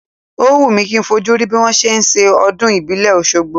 Ó wù mi kì í fojú rí bí wọn ṣe máa ń ṣe ọdún ìbílẹ̀ Oṣogbo.